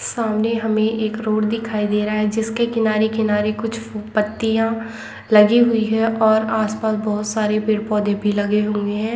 सामने हमें एक रोड दिखाई दे रहा है जिसके किनारे किनारे कुछ फू -- पत्तियाँ लगी हुई हैं और आस-पास बहोत सारे पेड़ - पौधे भी लगे हुए हैं।